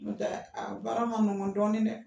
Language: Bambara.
N'ɔ tɛɛ a baara man nɔgɔ dɔɔni dɛ